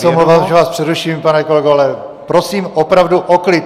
Já se omlouvám, že vás přeruším, pane kolego, ale prosím opravdu o klid!